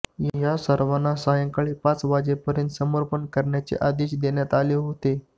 या सर्वांना सायंकाळी पाच वाजेपर्यंत समर्पण करण्याचे आदेश देण्यात आले होते